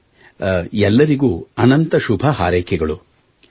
ಸರಿ ಎಲ್ಲರಿಗೂ ಅನಂತ ಶುಭ ಹಾರೈಕೆಗಳು